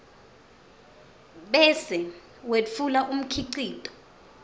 bese wetfula umkhicito